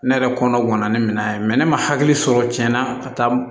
Ne yɛrɛ kɔnɔ gana ni minɛn ye ne ma hakili sɔrɔ cɛn na ka taa